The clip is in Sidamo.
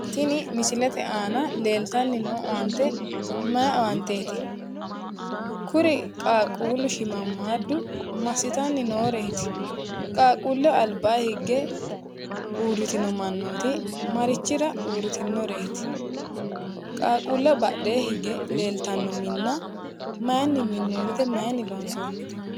Tini misilete aana leeltanni noo owaante mayi owaanteeti? Kuri qaaqquullu shiimmammaaddu massitanni nooreeti? Qaaqquulleho albaa higge uurritiwori marichira uurritinnoreeti? qaaqquulleho badhee higge leeltanno minna mayinni minnoonnite? Mayinni loonsoonnite?